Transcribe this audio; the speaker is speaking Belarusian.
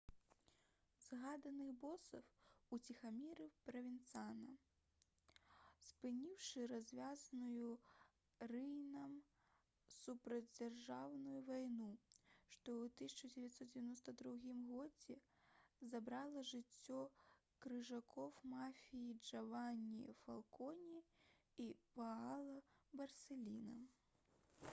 «згаданых босаў уціхамірыў правенцана спыніўшы развязаную рыйнам супрацьдзяржаўную вайну што ў 1992 годзе забрала жыццё крыжакоў мафіі джавані фалконе і паала барсэліна»